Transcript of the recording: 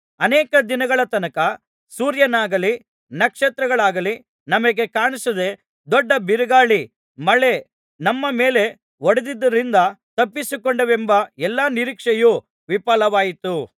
ಅನೇಕ ದಿನಗಳ ತನಕ ಸೂರ್ಯನಾಗಲಿ ನಕ್ಷತ್ರಗಳಾಗಲಿ ನಮಗೆ ಕಾಣಿಸದೆ ದೊಡ್ಡ ಬಿರುಗಾಳಿ ಮಳೆ ನಮ್ಮ ಮೇಲೆ ಹೊಡೆದುದರಿಂದ ತಪ್ಪಿಸಿಕೊಂಡೇವೆಂಬ ಎಲ್ಲಾ ನಿರೀಕ್ಷೆಯು ವಿಫಲವಾಯಿತು